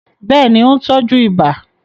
Bẹ́ẹ̀ ni, ó ń tọ́jú ibà